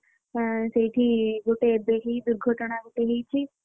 ଅଁ ସେଇଠି ଗୋଟେ ଦୁର୍ଘଟଣା ଗୋଟେ ହେଇଛି।